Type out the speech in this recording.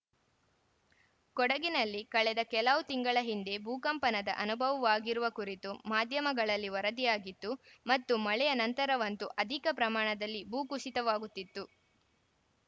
ಕೊಡಗಿನಲ್ಲಿ ಕಳೆದ ಕೆಲವು ತಿಂಗಳ ಹಿಂದೆ ಭೂಕಂಪನದ ಅನುಭವವಾಗಿರುವ ಕುರಿತು ಮಾಧ್ಯಮಗಳಲ್ಲಿ ವರದಿಯಾಗಿತ್ತು ಮತ್ತು ಮಳೆಯ ನಂತರವಂತೂ ಅಧಿಕ ಪ್ರಮಾಣದಲ್ಲಿ ಭೂ ಕುಸಿತವಾಗುತ್ತಿತ್ತು